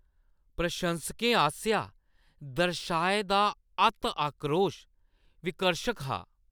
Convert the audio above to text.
प्रशंसकें आसेआ दर्शाए दा अत्त आक्रोश विकर्शक हा।